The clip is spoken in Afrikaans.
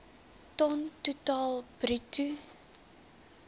ton totaal bruto